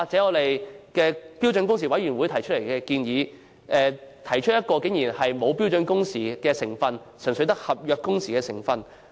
又例如標準工時委員會提出的建議，竟然沒有標準工時的成分，純粹只有合約工時的成分。